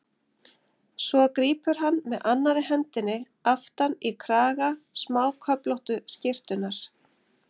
Svo grípur hann með annarri hendinni aftan í kraga smáköflóttu skyrtunnar.